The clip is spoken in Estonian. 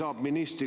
Aitäh!